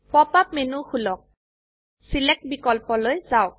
pop up menu খুলক select বিকল্পলৈ যাওক